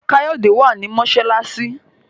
Kayode wá ní masalasi.